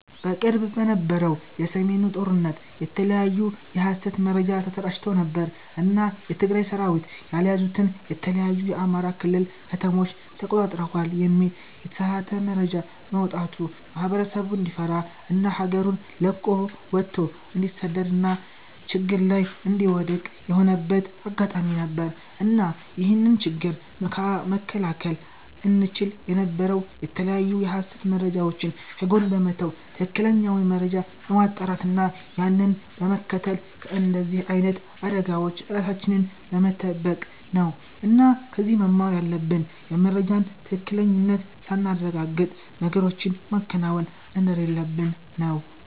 በቅርቡ በነበረው የ ሰሜኑ ጦርነት የተለያዩ የ ሀሰት መረጃ ተሰራጭተው ነበር እና የ ትግራይ ሰራዊት ያልያዙትን የተለያዩ የ አማራ ክልል ከተሞችን ተቆጣጥረውታል የሚል የተሳሳተ መረጃ በመውጣቱ ማህበረሰቡ እንዲፈራ እና ሀገሩን ለቆ ወቶ እንዲሰደድ እና ችግር ላይ እንዲወድክቅ የሆነበት አጋጣሚ ነበር። እና ይህንን ችግር መከላከል እንቺል የነበረው የተለያዩ የሀሰት መረጃወችን ከጎን በመተው ትክክለኛውን መረጃ በማጣራት እና ያንን በመከተል ከንደዚህ አይነት አደጋወች ራሳችንን በመተበቅ ነው እና ከዚህ መማር ያለብን የመረጃን ትክክለኝነት ሳናረጋግጥ ነገሮችን ማከናወን እንደሌለብን ነው